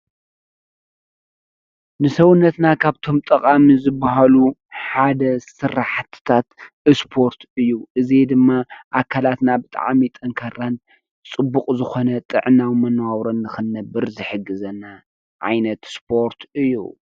ንሰዉነትና ካብ እቶም ጠቀምቲ ዝበሃሉ ሓደ ስራሕትታት እስፖርት እዩ። እዚ ድማ ኣካላትና ብጣዕሚ ጠንካራን ፅቡቅ ዝኮነ ጥዕናን መነባብሮን ንክንነብር ዝሕግዘና ዓይነት ስፖርት እዩ ።